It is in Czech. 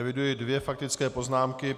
Eviduji dvě faktické poznámky.